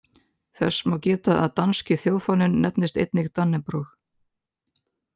Þess má geta að danski þjóðfáninn nefnist einnig dannebrog.